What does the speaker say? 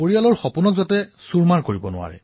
প্ৰতিটো পৰিয়ালৰ সপোন যাতে ধ্বংস নকৰে